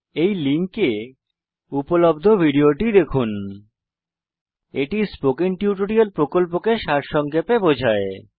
এই লিঙ্কে উপলব্ধ ভিডিও টি দেখুন httpspoken tutorialorgWhat is a spoken tutorial এটি স্পোকেন টিউটোরিয়াল প্রকল্পকে সারসংক্ষেপে বোঝায়